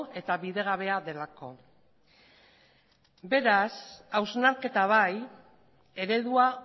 eta bidegabea delako beraz hausnarketa bai eredua